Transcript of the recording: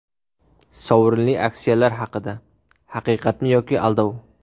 Sovrinli aksiyalar haqida: Haqiqatmi yoki aldov !?.